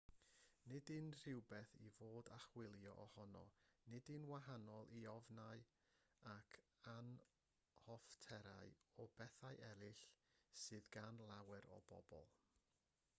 nid yw'n rhywbeth i fod a chywilydd ohono nid yw'n wahanol i ofnau ac anhoffterau o bethau eraill sydd gan lawer o bobl